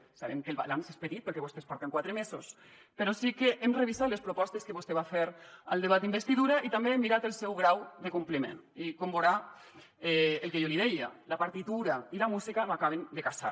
sabem que el balanç és petit perquè vostès porten quatre mesos però sí que hem revisat les propostes que vostè va fer al debat d’investidura i també hem mirat el seu grau de compliment i com veurà el que jo li deia la partitura i la música no acaben de casar